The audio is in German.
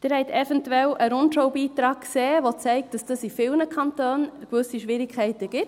Sie haben eventuell einen «Rundschau»-Beitrag gesehen, der zeigt, dass es da in vielen Kantonen gewisse Schwierigkeiten gibt.